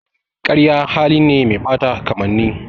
Ƙarya hali ne mai ɓata kamanni.